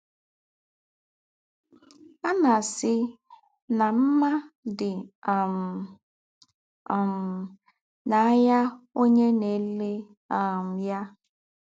À nà-àsị̣ nà mmá dị́ um um n’áyá ǒnyẹ́ nà-èlẹ́ um yá.